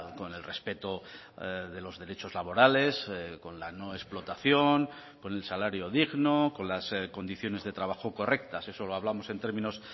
con el respeto de los derechos laborales con la no explotación con el salario digno con las condiciones de trabajo correctas eso lo hablamos en términos